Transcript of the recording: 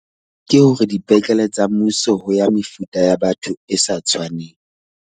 Ke hore dipetlele tsa mmuso ho ya mefuta ya batho e sa tshwaneng.